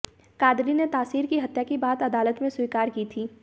कादरी ने तासीर की हत्या की बात अदालत में स्वीकार की थी